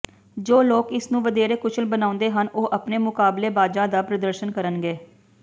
ਜੋ ਲੋਕ ਇਸ ਨੂੰ ਵਧੇਰੇ ਕੁਸ਼ਲ ਬਣਾਉਂਦੇ ਹਨ ਉਹ ਆਪਣੇ ਮੁਕਾਬਲੇਬਾਜ਼ਾਂ ਦਾ ਪ੍ਰਦਰਸ਼ਨ ਕਰਨਗੇ